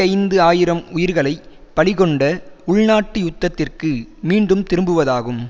ஐந்து ஆயிரம் உயிர்களை பலிகொண்ட உள்நாட்டு யுத்தத்திற்கு மீண்டும் திரும்புவதாகும்